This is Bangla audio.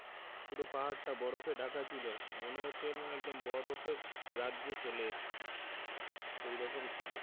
পুরো পাহাড় টা বরফে ঢাকা ছিলো মনে হচ্ছিলো একদম বরফের রাজ্যে চলে এসেছি সেই রকম ছিলো।